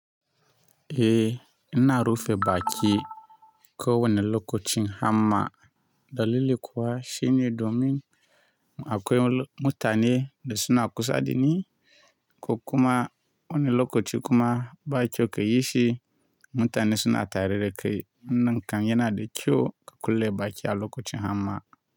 Eh, ina rufe bakin ko wani lokacin har ma dalili kuwa shine domin akwai mutane da suna kusa da ni ko kuma wani lokaci kuma bakyau kayi shi mutane suna tare da kai. Nan kan yana da kyau ka kulle bakin a lokacin ham ma.